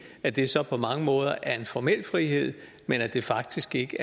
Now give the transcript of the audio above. at det så på mange måder er en formel frihed men faktisk ikke